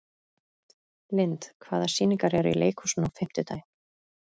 Lynd, hvaða sýningar eru í leikhúsinu á fimmtudaginn?